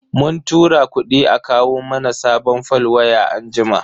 Mun tura kudi a kawo mana sabon fol waya anjima.